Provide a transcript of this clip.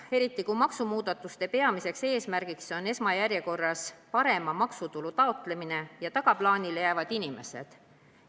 Eriti kui maksumuudatuste peamiseks eesmärgiks on esmajärjekorras parema maksutulu taotlemine ja tagaplaanile jäävad inimesed.